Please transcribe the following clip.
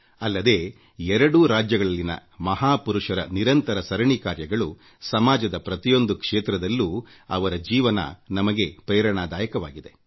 ಅಲ್ಲದೇ ಎರಡೂ ರಾಜ್ಯಗಳಲ್ಲಿನ ಮಹಾಪುರುಷರ ನಿರಂತರ ಪರಿಶ್ರಮ ಸಮಾಜದ ಪ್ರತಿಯೊಂದು ಕ್ಷೇತ್ರದಲ್ಲೂ ಅವರ ಜೀವನ ನಮಗೆ ಪ್ರೇರಣಾದಾಯಕವಾಗಿದೆ